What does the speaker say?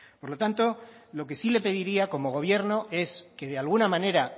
por lo tanto lo que sí le pediría como gobierno es que de alguna manera